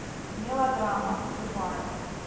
мелодрама любая